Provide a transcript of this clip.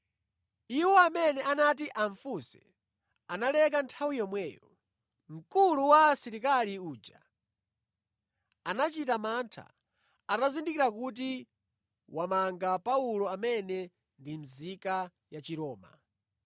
Iwo amene anati amufunse analeka nthawi yomweyo. Mkulu wa asilikali uja anachita mantha atazindikira kuti wamanga Paulo amene ndi nzika ya Chiroma.